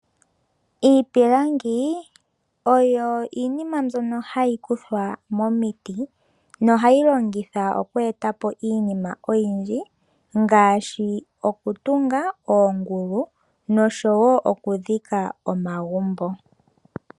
Iipilangi oyo iinima mbyono hayi kuthwa momiti nohayi longithwa oku e ta po iinima oyindji ngaashi oku tunga oongulu noshowo oku dhika omagumbo.